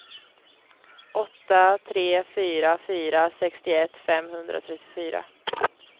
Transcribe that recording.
åtta tre fyra fyra sextioett femhundratrettiofyra